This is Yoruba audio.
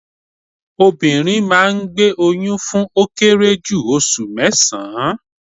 Obìnrin máa ngbé oyún fún ó kéré jù osù mésán-án